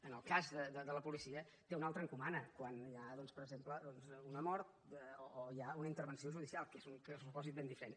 en el cas de la policia té una altra encomana quan hi ha doncs per exemple una mort o hi ha una intervenció judicial que és un supòsit ben diferent